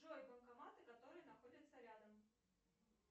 джой банкоматы которые находятся рядом